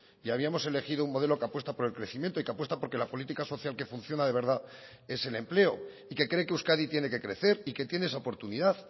y habíamos elegido un modelo que apuesta por el crecimiento y que apuesta porque la política social que funciona de verdad es el empleo y que cree que euskadi tiene que crecer y que tiene esa oportunidad